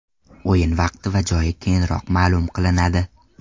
O‘yin vaqti va joyi keyinroq ma’lum qilinadi.